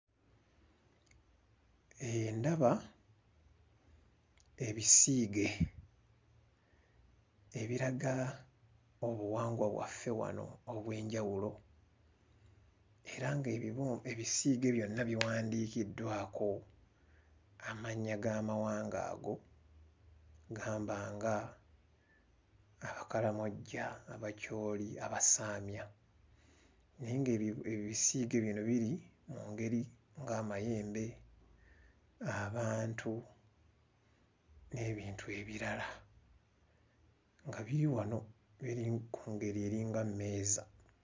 Ndaba ebisiige ebiraga obuwangwa bwaffe wano obw'enjawulo era ng'ebibu ebisiige byonna biwandiikiddwako amannya g'amawanga ago, gamba nga Abakalamoja, Abacholi, Abasamya, Naye ng'ebi ebisiige bino biri mu ngeri ng'amayembe, abantu n'ebintu ebirala nga biri wano biri ku ngeri eringa mmeeza.